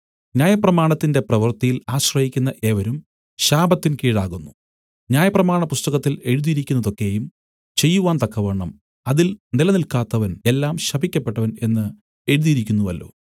ന്യായപ്രമാണത്തിന്റെ പ്രവൃത്തിയിൽ ആശ്രയിക്കുന്ന ഏവരും ശാപത്തിൻ കീഴാകുന്നു ന്യായപ്രമാണപുസ്തകത്തിൽ എഴുതിയിരിക്കുന്നതൊക്കെയും ചെയ്‌വാൻ തക്കവണ്ണം അതിൽ നിലനിൽക്കാത്തവൻ എല്ലാം ശപിക്കപ്പെട്ടവൻ എന്ന് എഴുതിയിരിക്കുന്നുവല്ലോ